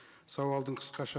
сауалдың қысқаша